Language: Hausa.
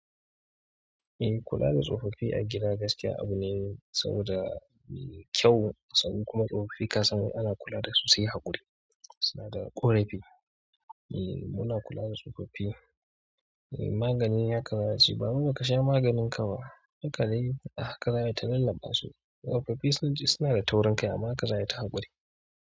Eh, kula da tsofaffi a gida gaskiya abu ne saboda kyau sannan kuma tsofaffi ka san ina ana kula da su sai haƙuri. Suna da ƙorafi. Eh muna kula da tsofaffi. Eh magani haka nace baba ba ka sha maganin ka ba. Hakane a haka za ta lalaba su. Tsofaffi sunji suna da taurin kai amma haka za ai ta haƙuri.